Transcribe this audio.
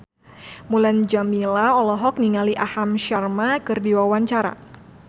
Mulan Jameela olohok ningali Aham Sharma keur diwawancara